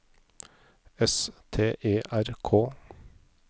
S T E R K